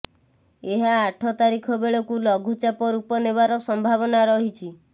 ଏହା ଆଠ ତାରିଖ ବେଳକୁ ଲଘୁଚାପ ରୂପ ନେବାର ସମ୍ଭାବନା ରହିଛି